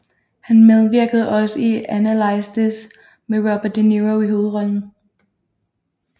Han medvirkede også i Analyze This med Robert De Niro i hovedrollen